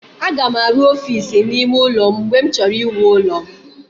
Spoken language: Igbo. Aga m arụ ọfiisi n'ime ụlọ m mgbe m chọrọ iwu ụlọ m.